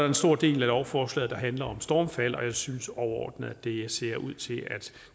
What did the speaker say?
en stor del af lovforslaget der handler om stormfald og jeg synes overordnet at det ser ud til at